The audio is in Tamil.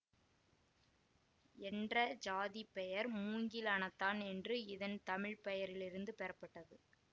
என்ற சாதி பெயர் மூங்கில் அணத்தான் என்ற இதன் தமிழ்ப்பெயரிலிருந்து பெறப்பட்டது